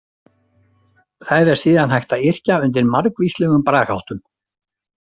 Þær er síðan hægt að yrkja undir margvíslegum bragarháttum.